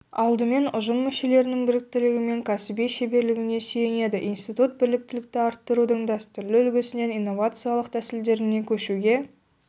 алдымен ұжым мүшелерінің біліктілігі мен кәсіби шеберлігіне сүйенеді институт біліктілікті арттырудың дәстүрлі үлгісінен инновациялық тәсілдеріне көшуге